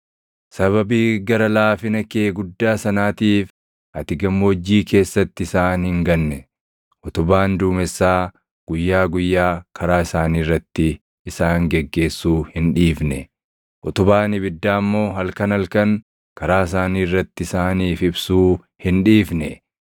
“Sababii gara laafina kee guddaa sanaatiif ati gammoojjii keessatti isaan hin ganne. Utubaan duumessaa guyyaa guyyaa karaa isaanii irratti isaan geggeessuu hin dhiifne; utubaan ibiddaa immoo halkan halkan karaa isaanii irratti isaaniif ibsuu hin dhiifne.